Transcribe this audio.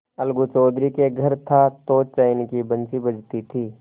अलगू चौधरी के घर था तो चैन की बंशी बजती थी